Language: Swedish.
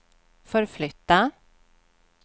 förflytta